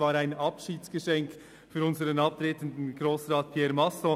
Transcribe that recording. Es war ein Abschiedsgeschenk für unseren abtretenden Grossrat Pierre Masson.